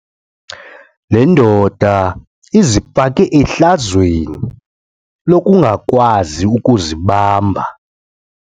Le ndoda izifake ehlazweni lokungakwazi ukuzibamba.